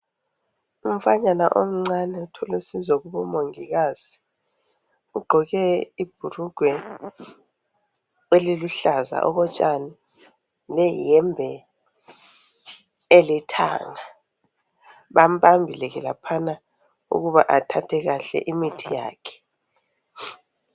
Umfanyana omncane uthola usizo kubo mongokazi ugqoke ibrugwe eliluhlaza okotshani le yembe elithanga bambabile laphana ukuba athathe kuhle imithi yakhe.